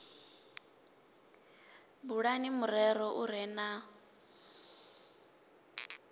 bulani murero u re na